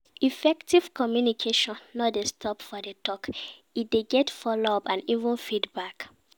Effective communication no dey stop for di talk e de get follow up and even feedback